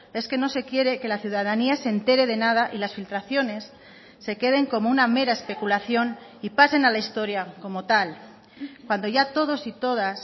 es que no se quiere que la ciudadanía se entere de nada y las filtraciones se queden como una mera especulación y pasen a la historia como tal cuando ya todos y todas